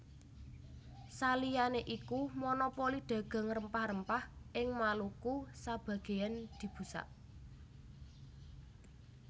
Saliyané iku monopoli dagang rempah rempah ing Maluku sabagéyan dibusak